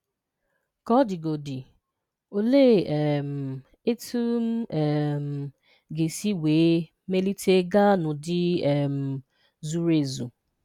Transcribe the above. Ka ọ digodị olee um etụm um ga-esi wee melite gáá n'ụdị um zuru ezu?